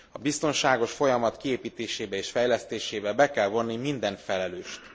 A biztonságos folyamat kiépítésébe és fejlesztésébe be kell vonni minden felelőst.